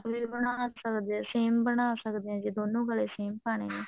ਉਹ ਵੀ ਬਣਾ ਸਕਦੇ ਹਾਂ same ਬਣਾ ਸਕਦੇ ਹਾਂ ਜੇ ਦੋਨੋ ਗਲੇ same ਪਾਉਣੇ ਨੇ